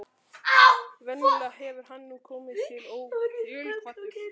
Venjulega hefur hann nú komið ótilkvaddur.